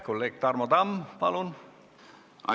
Kolleeg Tarmo Tamm, palun!